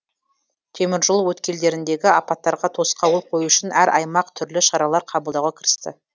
теміржол өткелдеріндегі апаттарға тосқауыл қою үшін әр аймақ түрлі шаралар қабылдауға кірісті